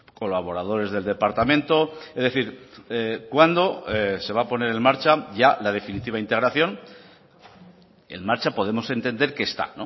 colaboradores del departamento es decir cuándo se va a poner en marcha ya la definitiva integración en marcha podemos entender que está